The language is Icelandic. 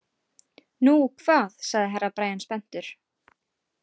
Nú hvað sagði Herra Brian spenntur.